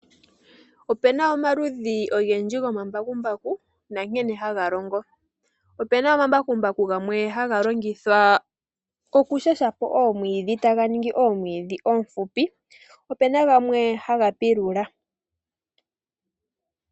Ope na omaludhi ogendji gomambakumbaku nankene haga longo. Ope na omambakumbaku gamwe haga longithwa oku shasha po oomwiidhi, taga ningi oomwiidhi oonfupi. Opu na gamwe haga pilula.